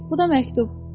Bu da məktub.